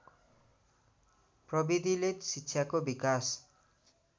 प्रवृतिले शिक्षाको विकास